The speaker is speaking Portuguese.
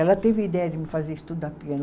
Ela teve ideia de me fazer estudar piano.